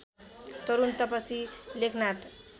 Tarun Tapasi Lekhnath